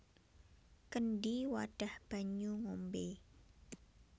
Kendhi wadhah banyu ngombé